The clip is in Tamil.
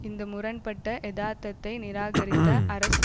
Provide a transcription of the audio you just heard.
இந்த முரண் பட்ட எதார்த்தத்தை நிராகரித்த அரசு